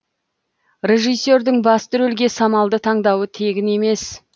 режиссердің басты рөлге самалды таңдауы тегін емес